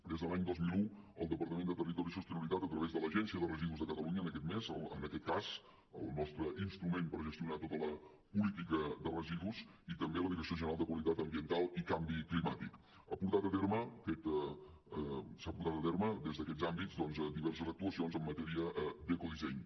des de l’any dos mil un el departament de territori i sostenibilitat a través de l’agència de residus de catalunya en aquest cas el nostre instrument per gestionar tota la política de residus i també la direcció general de qualitat ambiental i canvi climàtic ha portat a terme des d’aquests àmbits diverses actuacions en matèria d’ecodisseny